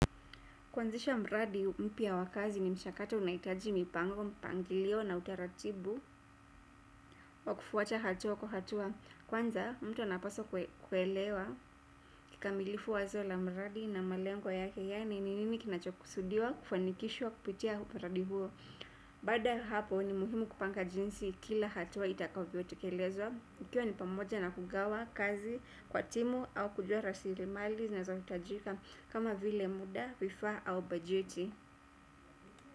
Kuanzisha mradi mpya wa kazi ni mchakato unahitaji mipango, mpangilio na utaratibu wa kufuata hatua kwa hatua. Kwanza mtu anapaswa kuelewa kikamilifu wazo la mradi na malengo yake yaani ni nini kinachokusudiwa kufanikishwa kupitia mradi huo. Baada ya hapo ni muhimu kupanga jinsi kila hatua itakavyotekelezwa. Hio ni pamoja na kugawa kazi kwa timu au kujua rasilimali zinazohitajika kama vile muda, vifaa au bajeti.